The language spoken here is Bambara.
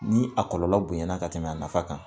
Ni a kɔlɔlɔ bonɲana ka tɛmɛ a nafa kan